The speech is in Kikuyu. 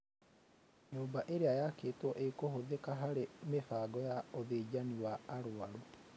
Nyũmba ĩrĩa yakĩtwo ĩkũhũthĩka harĩ mĩhang'o ya ũthĩnjani wa arwaru